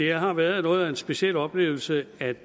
har været noget af en speciel oplevelse at